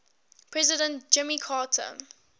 president jimmy carter